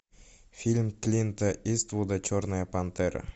фильм клинта иствуда черная пантера